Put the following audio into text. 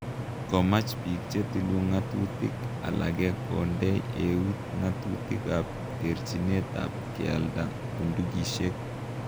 Komach biik chetilu ng'atutik alage kondei eut ng'atutik ab terchinet ab kialda bundukisiek